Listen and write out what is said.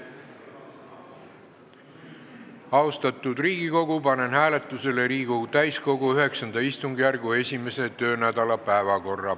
Austatud Riigikogu, panen hääletusele Riigikogu täiskogu IX istungjärgu 1. töönädala päevakorra.